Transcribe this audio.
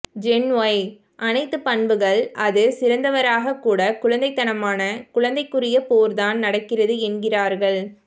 gen Y அனைத்து பண்புகள் அது சிறந்தவராக கூட குழந்தைத்தனமான குழந்தைக்குரிய போர்தான் நடக்கிறது என்கிறார்கள்